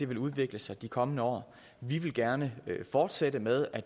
vil udvikle sig de kommende år vi vil gerne fortsætte med at